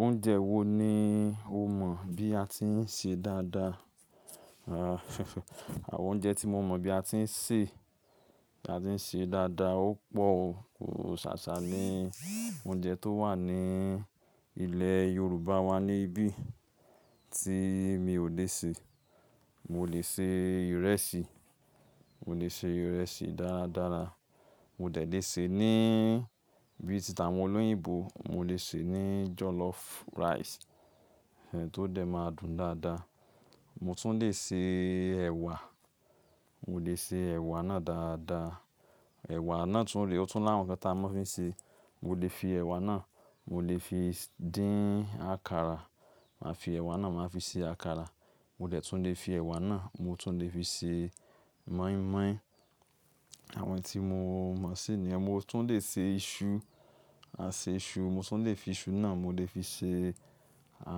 Oúnjẹ wo ni o mọ̀ bí a ti ń ṣe dáadáa? Àwọn oúnjẹ tí mo mọ̀ bí a ti ń sè, bi a ti ń ṣe dáadáa ó pọ̀ o. Kò ṣàṣà ní oúnjẹ tó wà ní ilẹ̀ Yorùbá wa níbí tí mi ò le sè. Mo lè ṣe ìrẹsì, mo lè ṣe ìrẹsì dáradára. Mo dẹ̀ lé ṣe ní bí i títa àwọn olóyìnbo, mo lè sè ní jollof rice, tó dẹ̀ máa dùn dáadáa. Mo tún lè ṣe ẹ̀wà, mo lè ṣe ẹ̀wà náà dáadáa. Ẹ̀wà náà tún re, ó tún láwon nnkan tí a máa fi ń ṣe. Mo lè fi ẹ̀wà náà, mo lè fi dín àkàrà. Màá fi ẹ̀wà náà màá fi ṣe àkàrà. Mo dẹ̀ tún lè fi ẹ̀wà náà, mo tún lè fi ṣe mọ́ín-mọ́ín. Àwọn tí mo mọ̀ sí nìyẹn. Mo tún lè ṣe iṣu, a ṣe iṣu. Mo tún lè fi iṣu náà, mo lè fi ṣe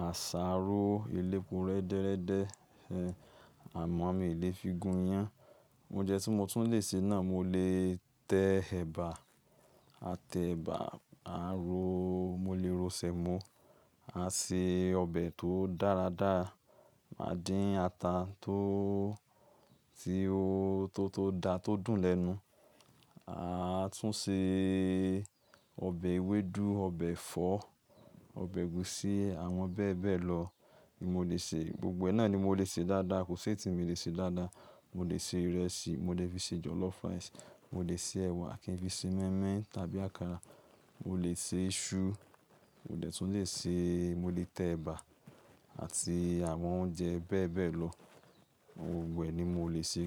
àsáró, elépo rẹ́dẹ́rẹ́dẹ́. Ẹ̀hẹ̀, àmọ́ mi ò lè fi gun iyán. Oúnjẹ tí mo tún lè ṣe náà, mo lè tẹ ẹ̀bà. A tẹ ẹ̀bà, a ro, mo lè ro Sẹ̀mọ́, a ṣe ọbẹ̀ tó dáradára. Máa dín ata tó, tí ó, tó tó dá tó dùn lẹ́nu. A tún ṣe ọbẹ̀ ewédú, ọbẹ̀ ẹ̀fọ́, ọbẹ̀ ẹ̀gúsí, àwọn bẹ́ẹ̀ bẹ́ẹ̀ lọ ni mo lè ṣe. Gbogbo náà ni mo lè ṣe dáadáa, kò sé eyi ti mii lè ṣe dáadáa. Mo lè ṣe ìrẹsì, mo lè fi ṣe jollof rice, mo lè ṣe ẹ̀wà, kí n fi ṣe mọ́ín-mọ́ín tàbí àkàrà. Mo lè ṣe iṣu, mo tẹ̀ tún lè ṣe, mo lè tẹ ẹ̀bà àti àwọn oúnjẹ bẹ́ẹ̀ bẹ́ẹ̀ lọ. Gbogbo ẹ ni mo lè ṣe.